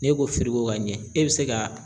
N'e ko ka ɲɛ e bɛ se ka